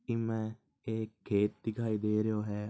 इमें एक खेत दिखाई दे रहो है।